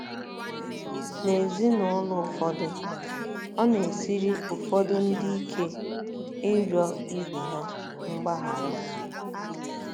N’ezinụlọ ụfọdụ, ọ na - esiri ụfọdụ ndị ike ịrịọ ibe ha mgbaghara.